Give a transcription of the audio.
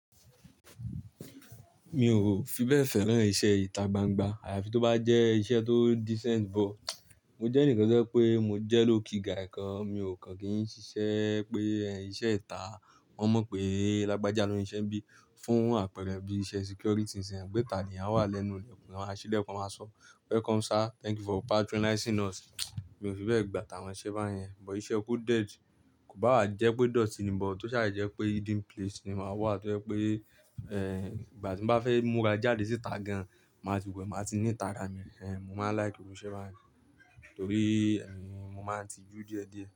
Mi ò fi bẹ́ẹ̀ fẹ́ràn iṣẹ́ ìta gbangba, àyàfi tó bá jẹ́ iṣẹ́ tó decent bọ̀. Mo jẹ́ ẹni kan tó pé mo jẹ́ low key guy kan, mi ò kàn kí n ṣiṣẹ́ pé iṣẹ́ ìta, wọ́n mọ̀ pé lágbájá ló ń ṣe ẹbí fún àpẹrẹ bí iṣẹ́ security sẹ́n, gbéta ni a wà lẹ́nu ilẹ̀, wọn máa ṣílẹ̀ kan máa sọ "Welcome sir, thank you for patronizing us." Mi ò fi bẹ́ẹ̀ gbà tàwọn iṣẹ́ báyẹn, bo iṣẹ́ coded kò bá wa jẹ́ pé idoti ni bọ̀, tó ṣàjèjì jẹ́ pé hidden place ni máa wà, tó jẹ́ pé, eh, ìgbà tí mo bá fẹ́ múra jáde síta gan, màá ti wẹ̀, màá ti neat ara mi rẹ̀, eh, mo máa like irú iṣẹ́ báyẹn torí, ẹ́, mo máa ń tijú díẹ̀díẹ̀.